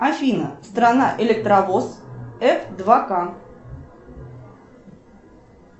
афина страна электровоз ф два к